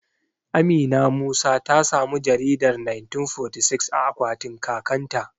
Amina Musa ta samu jaridar 1946 a akwatin kakan ta